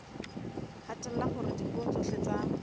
hatella hore dipuo tsohle tsa